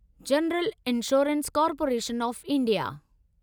general insurance corporation of India